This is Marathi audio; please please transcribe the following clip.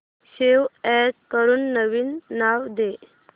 सेव्ह अॅज करून नवीन नाव दे